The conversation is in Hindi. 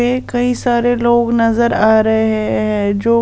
कई सारे लोग नजर आ रहे हैं जो--